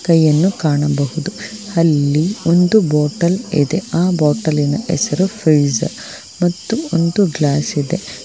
ಕೈಯನ್ನು ಕಾಣಬಹುದು ಅಲ್ಲಿ ಒಂದು ಬಾಟಲ್ ಎದೆ ಆ ಬಾಟಲಿನ ಹೆಸರು ಪ್ರೀಜ್ ಮತ್ತು ಒಂದು ಗ್ಲಾಸ್ ಇದೆ.